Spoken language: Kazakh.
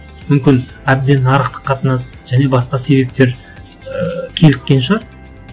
мүмкін әбден нарықтық қатынас және басқа себептер ыыы кейіккен шығар